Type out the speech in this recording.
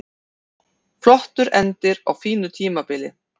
Flottur endir á fínu tímabili